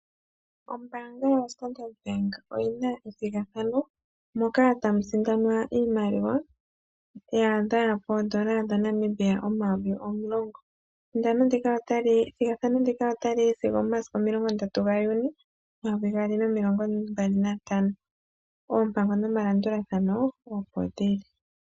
Ombaanga yaStandard Bank oyina ethigathano moka tamu sindanwa iimaliwa yaadha poodola dhaNamibia Omayovi omulongo ethigathano ndika otali yi sigo omomasiku 30 Juni 2025, oompango nomalandulathano opo dhili.